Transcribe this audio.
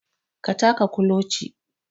Ka taka kuloci